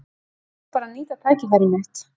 Ég ákvað bara að nýta tækifærið mitt.